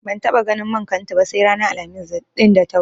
Ban taɓa ganin man kantu ba sai ranar Alhamis ɗin da ta wuce.